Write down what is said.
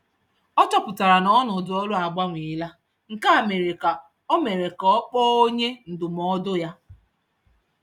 Ọ chọpụtara na ọnọdụ ọrụ agbanweela, nke mere ka ọ mere ka ọ kpọọ onye ndụmọdụ ya.